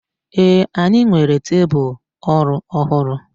ee, anyi nwere tebul oru ohuru